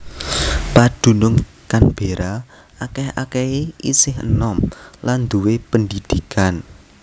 Padunung Canberra akèh akèhé isih enom lan duwé pendidikan